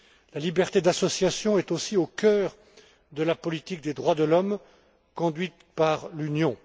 La liberté d'association est aussi au cœur de la politique des droits de l'homme conduite par l'Union.